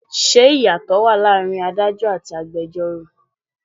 Ṣé ìyàtò wá láàárín Ádájọ́ àti agbẹjoro?